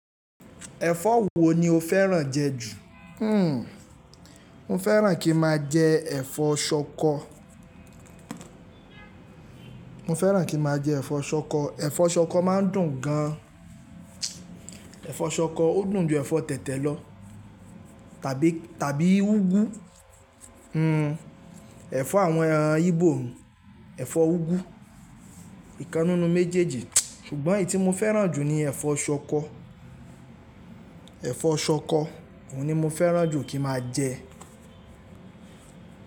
Ẹ̀fọ́ wo ni o fẹ́ràn jẹ ju? Hmm, mo fẹ́ràn kí n maa jẹ ẹ̀fọ́ ṣọkọ. Mo fẹ́ràn kí n maa jẹ ẹ̀fọ́ ṣọkọ. Efọ́ ṣọkọ máa ń dùn gan an. Efọ́ ṣọkọ ó dùn ju ẹ̀fọ́ tẹ̀tẹ̀ lọ tàbí, tàbí ugwu. Hmm, ẹ̀fọ́ àwọn íbò, ẹ̀fọ́ ugwu, ìkan ninu méjèèjì, ṣùgbọ́n èyí tí mo fẹ́ràn jù ni ẹ̀fọ́ ṣọkọ. Ẹ̀fọ́ ṣọkọ, òun ni mo fẹ́ràn jù kí ma jẹ.